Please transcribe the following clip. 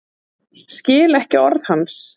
Skil ekki orð hans.